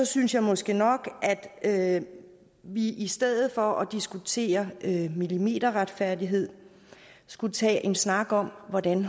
synes jeg måske nok at vi i stedet for at diskutere millimeterretfærdighed skulle tage en snak om hvordan